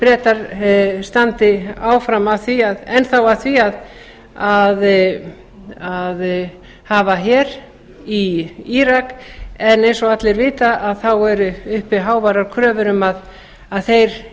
bretar standi enn að því að hafa her í írak en eins og allir vita eru uppi háværar kröfur um að þeir